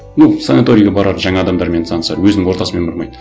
ну санаторийге барады жаңа адамдармен танысады өзінің ортасымен бармайды